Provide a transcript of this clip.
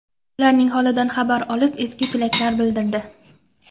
Ularning holidan xabar olib, ezgu tilaklar bildirdi.